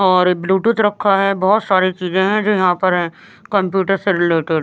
और ब्लूटूथ रखा है बहुत सारी चीजें हैं जो यहाँ पर है कंप्यूटर से रिलेटेड --